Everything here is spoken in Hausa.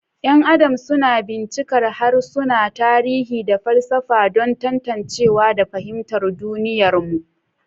’Yan Adam suna bincikar harsuna, tarihi, da falsafa don tantancewa da fahimtar duniyarmu.